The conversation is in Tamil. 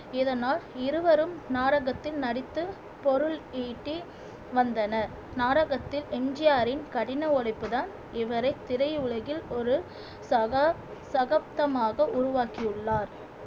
இதனால் இருவரும் நாடகத்தில் நடித்து பொருள் ஈட்டி வந்தனர் நாடகத்தில் எம் ஜி ஆரின் கடின உழைப்புதான் இவரின் திரை உலகில் ஒரு சகா சகப்தமாக உருவாக்கியுள்ளார்